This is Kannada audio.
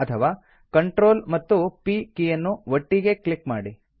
ಅಥವಾ CTRL ಮತ್ತು P ಕೀಯನ್ನು ಒಟ್ಟಿಗೇ ಒತ್ತಿ